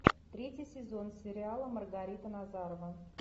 третий сезон сериала маргарита назарова